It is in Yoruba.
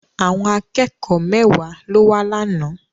Àwọn akẹ́kọ̀ọ́ mẹ́wàá ló wá lánàá.